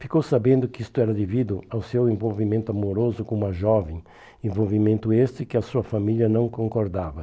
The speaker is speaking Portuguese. Ficou sabendo que isto era devido ao seu envolvimento amoroso com uma jovem, envolvimento este que a sua família não concordava.